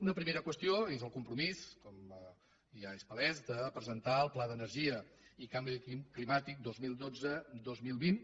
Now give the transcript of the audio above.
una primera qüestió és el compromís com ja és palès de presentar el pla d’energia i canvi climàtic vint milions cent i vint dos mil vint